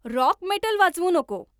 rock metal वाजवू नको